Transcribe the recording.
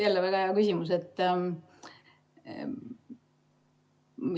Jälle väga hea küsimus.